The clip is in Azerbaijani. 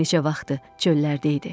Gör neçə vaxtdır çöllərdə idi.